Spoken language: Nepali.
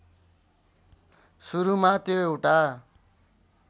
सुरूमा त्यो एउटा